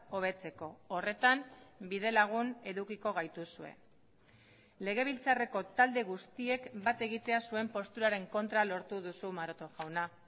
hobetzeko horretan bide lagun edukiko gaituzue legebiltzarreko talde guztiek bat egitea zuen posturaren kontra lortu duzu maroto jauna